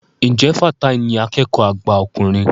Ǹjẹ́ Fatai ní akẹ́kọ̀ọ́ àgbà ọkùnrin?